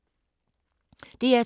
DR2